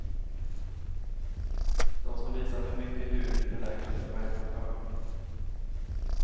De som visar för mycket hud kan räkna med poängavdrag.